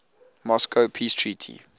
moscow peace treaty